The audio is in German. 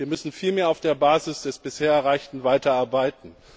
Wir müssen vielmehr auf der Basis des bisher Erreichten weiterarbeiten.